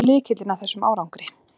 Hver er lykillinn að þessum árangri?